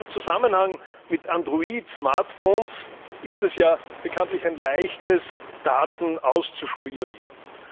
Gerade im Zusammenhang mit Android Smartphones ist es ja bekanntlich ein Leichtes, Daten auszuspionieren.